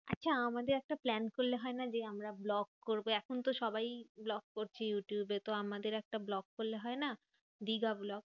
আচ্ছা আমাদের একটা plan করলে হয়না যে, আমরা vlog করবো। এখন সবাই vlog করছে ইউটিউবে। তো আমাদের একটা vlog করলে হয় না? দিঘা vlog.